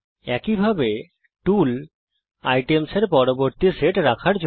একইভাবে tool items এর পরবর্তী সেট রেখার জন্য